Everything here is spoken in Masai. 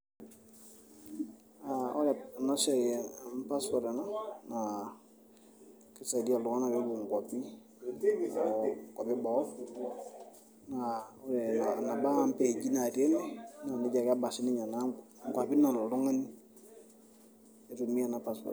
aa ore ena siai amu passport ena naa kisaidia iltung'anak peepuo inkuapi o inkuapi eboo naa ore eneba impeeji natii ene naa nejia ake eba naa sininye inkuapi nalo oltung'ani itumia ena passport.